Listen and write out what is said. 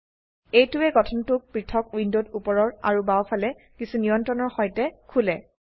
এইটোৱে গঠনটোক পৃথক উইন্ডোত উপৰৰ আৰু বাও ফালে কিছু নিয়ন্ত্ৰণৰ সৈতে খোলে